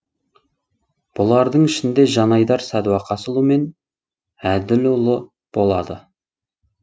бұлардың ішінде жанайдар садуақасұлы мен әділұлы болады